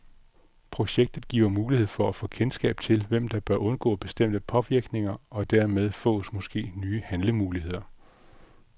Projektet giver mulighed for at få kendskab til, hvem der bør undgå bestemte påvirkninger, og dermed fås måske nye handlemuligheder.